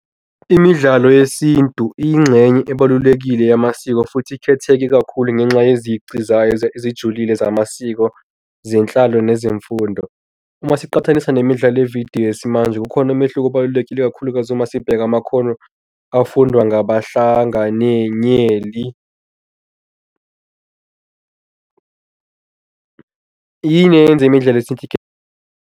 Imidlalo yesintu iyingxenye ebalulekile yamasiko futhi ikhetheke kakhulu ngenxa nezici zayo ezijulile zamasiko zenhlalo nezemfundo. Uma siqaphelisa nemidlalo yevidiyo yesimanje, ukhona umehluko obalulekile, ikakhulukazi uma sibheka amakhono afundwa ngabahlanganenyeli. Yini eyenza imidlalo .